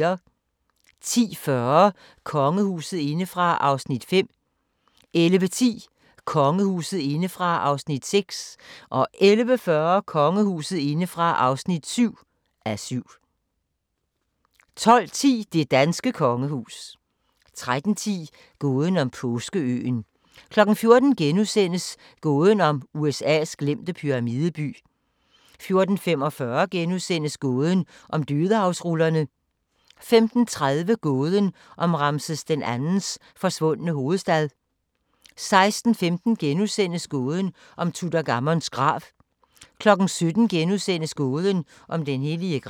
10:40: Kongehuset indefra (5:7) 11:10: Kongehuset indefra (6:7) 11:40: Kongehuset indefra (7:7) 12:10: Det danske kongehus 13:10: Gåden om Påskeøen 14:00: Gåden om USA's glemte pyramideby * 14:45: Gåden om Dødehavsrullerne * 15:30: Gåden om Ramses II's forsvundne hovedstad 16:15: Gåden om Tutankhamons grav * 17:00: Gåden om den hellige gral *